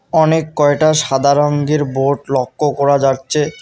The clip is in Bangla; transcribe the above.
অনেক কয়টা সাদা রঙের বোর্ড লক্ষ করা যাচ্ছে।